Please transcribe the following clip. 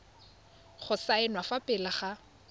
go saenwa fa pele ga